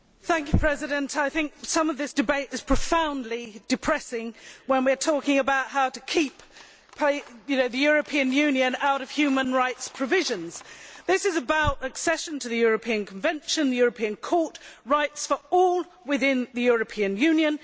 Madam President, I think that some of this debate is profoundly depressing when we are talking about how to keep the European Union out of human rights provisions. This is about accession to the European Convention, the European Court, rights for all within the European Union.